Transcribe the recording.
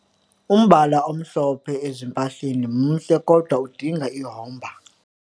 Umbala omhlophe ezimpahleni mhle kodwa udinga ihomba.